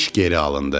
İş geri alındı.